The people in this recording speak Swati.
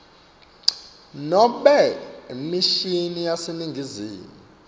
nobe imishini yaseningizimu